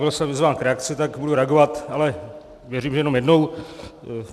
Byl jsem vyzván k reakci, tak budu reagovat, ale věřím, že jenom jednou.